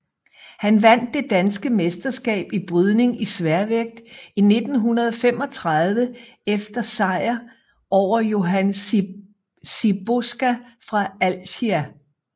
Han vandt det danske mesterskab i brydning i sværvægt 1935 efter sejer over Johan Siboska fra Alsia